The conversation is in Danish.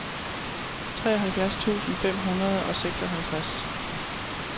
treoghalvfjerds tusind fem hundrede og seksoghalvtreds